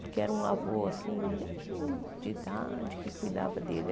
Porque era um avô assim bem de idade que cuidava dele.